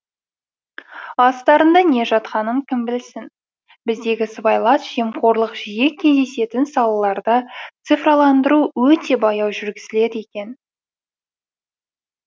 астарында не жатқанын кім білсін біздегі сыбайлас жемқорлық жиі кездесетін салаларда цифрландыру өте баяу жүргізіледі екен